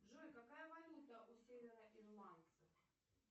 джой какая валюта у североирландцев